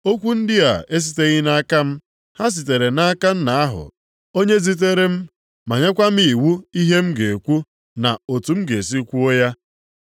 Okwu ndị a esiteghị nʼaka m. Ha sitere nʼaka Nna ahụ onye zitere m ma nyekwa m iwu ihe m ga-ekwu na otu m ga esi kwuo ya.